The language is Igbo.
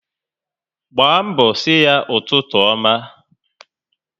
Gbaa mbọ si ya ụtụtụ ọma